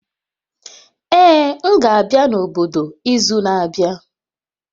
Ee, m ga-abịa n'obodo izu na-abịa